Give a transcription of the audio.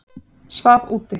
Svaf úti